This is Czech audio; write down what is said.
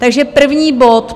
Takže první bod.